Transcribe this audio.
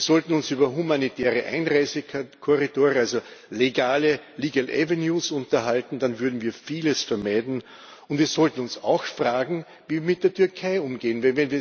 Wir sollten uns über humanitäre Einreisekorridore, also legale legal avenues unterhalten, dann würden wir vieles vermeiden. Und wir sollten uns auch fragen Wie mit der Türkei umgehen?